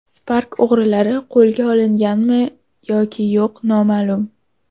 Spark o‘g‘rilari qo‘lga olinganmi yoki yo‘q noma’lum .